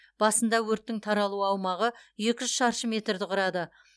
басында өрттің таралу аумағы екі жүз шаршы метрді құрады